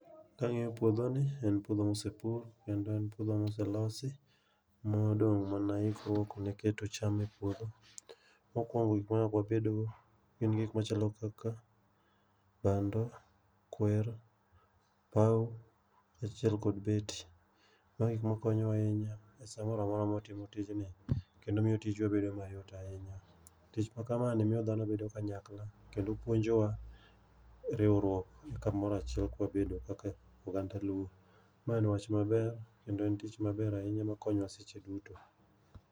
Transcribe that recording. Kang'iyo puodhoni en puodho ma nosepur kendo en puodho ma oselosi modong' mana ikruok ne keto cham e puodho. Mokuongo gik manyaka wabedgo gin gik machalo kaka bando, kwer, opawo, kaachiel kod beti. Mae gik makonyowa ahinya e samoro amora mawatimo tijni kendo miyo tijwa bedo mayot ahinya. Tich makama ni miyo dhano bedo kanyakla kendo puonjowa riwruok ka wabedo kanyakla kaka oganda luo. Ma en wach maber kendo en tich maber kendo konyowa seche duto.